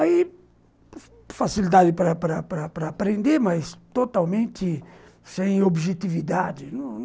Aí, facilidade para para para para aprender, mas totalmente sem objetividade.